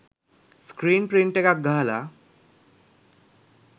screen print එකක් ගහලා